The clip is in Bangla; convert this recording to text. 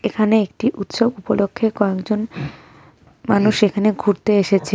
এখানে একটি উৎসব উপলক্ষে কয়েকজন মানুষ এখানে ঘুরতে এসেছে।